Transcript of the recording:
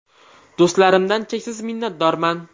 Do‘stlarimdan cheksiz minnatdorman.